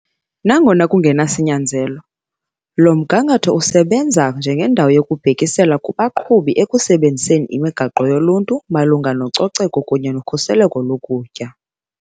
Nangona kungenasinyanzelo, lo mgangatho usebenza njengendawo yokubhekisela kubaqhubi ekusebenziseni imigaqo yoluntu malunga nococeko kunye nokhuseleko lokutya.